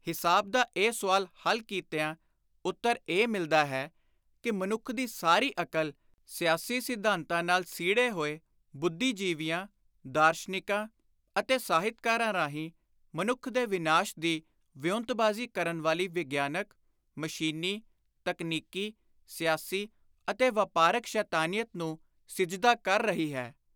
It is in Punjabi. ਹਿਸਾਬ ਦਾ ਇਹ ਸੁਆਲ ਹੱਲ ਕੀਤਿਆਂ ਉੱਤਰ ਇਹ ਮਿਲਦਾ ਹੈ ਕਿ ਮਨੁੱਖ ਦੀ ਸਾਰੀ ਅਕਲ ਸਿਆਸੀ ਸਿਧਾਂਤਾਂ ਨਾਲ ਸੀੜੇ ਹੋਏ ਬੁੱਧੀਜੀਵੀਆਂ, ਦਾਰਸ਼ਨਿਕਾਂ ਅਤੇ ਸਾਹਿਤਕਾਰਾਂ ਰਾਹੀਂ ਮਨੁੱਖ ਦੇ ਵਿਨਾਸ਼ ਦੀ ਵਿਉਂਤਬਾਜ਼ੀ ਕਰਨ ਵਾਲੀ ਵਿਗਿਆਨਕ, ਮਸ਼ੀਨੀ, ਤਕਨੀਕੀ, ਸਿਆਸੀ ਅਤੇ ਵਾਪਾਰਕ ਸ਼ੈਤਾਨੀਅਤ ਨੂੰ ਸਿਜਦਾ ਕਰ ਰਹੀ ਹੈ।